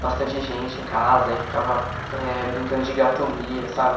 bastante gente em casa e ficava eh brincando de gato mia, sabe?